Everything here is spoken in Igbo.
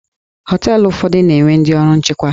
Họteelụ ụfọdụ na-enwe ndị ọrụ nchekwa.